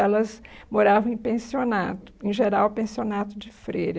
Elas moravam em pensionato, em geral, pensionato de freira.